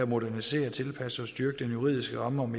modernisere tilpasse og styrke den juridiske ramme om